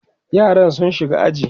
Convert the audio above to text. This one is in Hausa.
yaran sun shiga aji